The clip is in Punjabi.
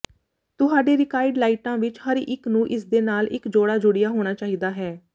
ਤੁਹਾਡੇ ਰੀਕਾਈਡ ਲਾਈਟਾਂ ਵਿੱਚ ਹਰ ਇੱਕ ਨੂੰ ਇਸਦੇ ਨਾਲ ਇੱਕ ਜੋੜਾ ਜੁੜਿਆ ਹੋਣਾ ਚਾਹੀਦਾ ਹੈ